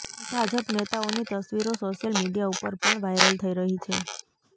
ભાજપ નેતાઓની તસવીરો social media ઉપર પણ વાયરલ થઈ રહી છે